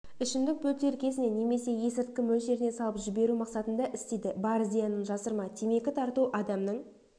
ішімдік бөтелкесіне немесе есірткі мөлшеріне салып жіберу мақсатында істейді бар зиянын жасырма темекі тарту адамның